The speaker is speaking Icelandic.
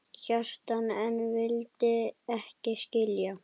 Kjartan en vildi ekki skilja.